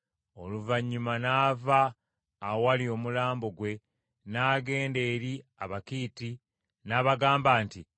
Oluvannyuma Ibulayimu n’ava awali omulambo gwe n’agenda eri Abakiiti n’abagamba nti,